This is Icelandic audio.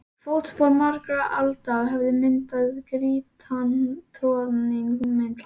Fótspor margra alda höfðu myndað grýttan troðning milli